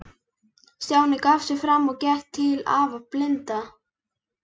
Stjáni gaf sig fram og gekk til afa blinda.